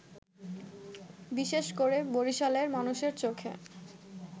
বিশেষ করে বরিশালের মানুষের চোখে